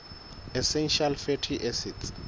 essential fatty acids